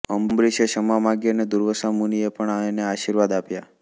અંબરીશે ક્ષમા માગી અને દુર્વાસા મુનિએ પણ એને આશીર્વાદ આપ્યા